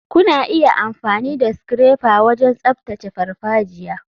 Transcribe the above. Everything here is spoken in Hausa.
Kuna iya amfani da scrapper wajen tsaftace farfajiya.